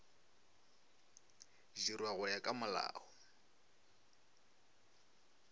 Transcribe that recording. dirwa go ya ka molao